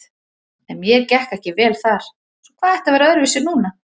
En mér gekk ekki vel þar, svo hvað ætti að vera öðruvísi núna?